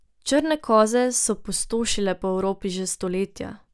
Črne koze so pustošile po Evropi že stoletja.